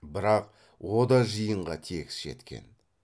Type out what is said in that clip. бірақ о да жиынға тегіс жеткен